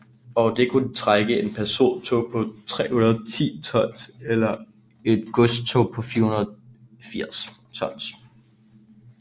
Og det kunne trække et persontog på 310 tons eller et godstog på 480 tons